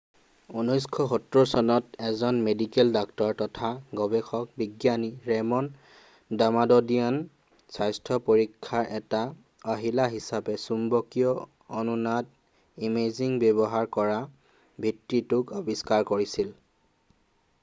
১৯৭০ চনত এজন medical doctor তথা গৱেষক বিজ্ঞানী ৰেম'ণ্ড ডামাডডিয়ানে স্বাস্থ্য় পৰীক্ষাৰ এটা আঁহিলা হিচাপে চুম্বকীয় অনুনাদ ইমেজিং ব্যৱহাৰ কৰাৰ ভিত্তিটোক আৱিষ্কাৰ কৰিছিল৷